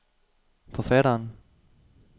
forfatteren